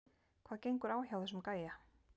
Hvað gengur á hjá þessum gæja???